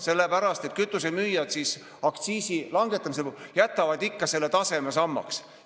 Sellepärast, et kütusemüüjad jätavad aktsiisi langetamisel taseme ikkagi samaks.